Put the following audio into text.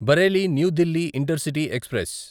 Bareilly New Delhi intercity express